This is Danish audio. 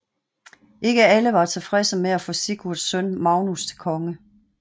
Ikke alle var tilfredse med at få Sigurds søn Magnus til konge